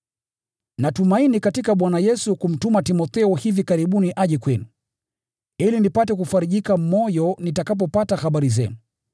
Natumaini katika Bwana Yesu kumtuma Timotheo hivi karibuni aje kwenu, ili nipate kufarijika moyo nitakapopata habari zenu.